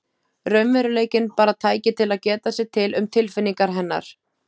Raunveruleikinn bara tæki til að geta sér til um tilfinningar hennar.